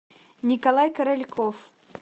николай корольков